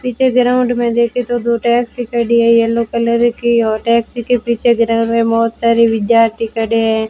पीछे ग्राउंड में देखे तो दो टैक्सी खड़ी है येलो कलर की और टैक्सी के पीछे ग्राउंड में बहोत सारी विद्यार्थी खड़े है।